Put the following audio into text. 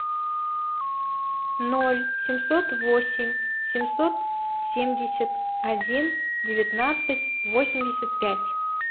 ноль семьсот восемь семьсот семьдесят один девятнадцать восемьдесят пять